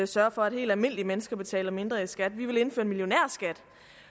sørge for at helt almindelige mennesker betaler mindre i skat vi vil indføre en millionærskat